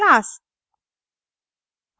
class class